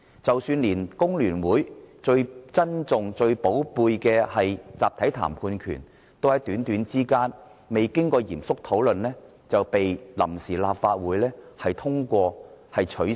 即使連工聯會最重視的集體談判權，都在極短的時間內，未經過嚴肅討論就被臨時立法會取消。